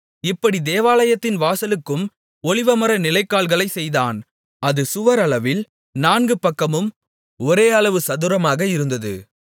இப்படி தேவாலயத்தின் வாசலுக்கும் ஒலிவமர நிலைக்கால்களைச் செய்தான் அது சுவர் அளவில் நான்கு பக்கமும் ஒரே அளவு சதுரமாக இருந்தது